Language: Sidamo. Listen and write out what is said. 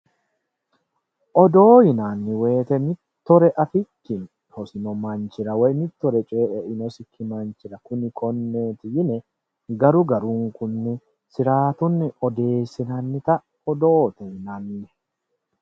Odoo yinanni woyiite mittore afikkinni hosino manchira mitturi coyii einosikki manchira kuni konneeti yine garu garunkunni siraatunni odeessinannita odoote yinanni